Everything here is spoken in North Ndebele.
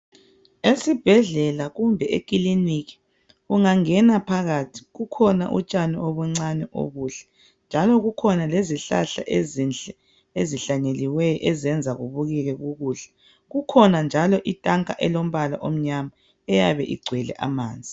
Esibhedlela kumbe ekiliniki ungangena phakathi kukhona utshani obuncane obuhle njalo kukhona lezihlahla ezinhle ezihlanyeliweyo ezenza kubukeke kukuhle kukhona njalo itanka elilombala omnyama eyabe igcwele amanzi.